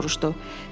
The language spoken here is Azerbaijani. Kassir soruşdu.